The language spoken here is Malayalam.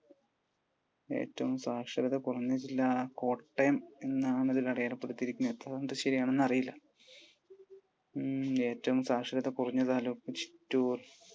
ഏറ്റവും സാക്ഷരത കുറഞ്ഞ ജില്ല കോട്ടയം എന്നാണ് ഇതിൽ അടയാളപ്പെടുത്തിയിരിക്കുന്നത്. എത്ര കണ്ടു ശരിയാണെന്ന് അറിയില്ല. ഏറ്റവും സാക്ഷരത കുറഞ്ഞ താലൂക്ക് ചിറ്റൂർ.